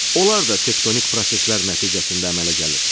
Onlar da tektonik proseslər nəticəsində əmələ gəlir.